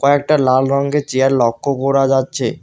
কয়েকটা লাল রঙ্গের চিয়ার লক্ষ করা যাচ্ছে।